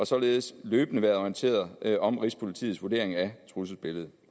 således løbende været orienteret om rigspolitiets vurdering af trusselsbilledet